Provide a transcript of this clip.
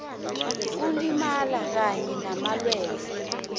ngokulimala kanye namalwelwe